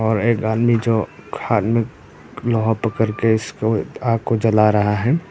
और एक आदमी जो हाथ में लोहा पकड़ कर इसको आग को जला रहा है।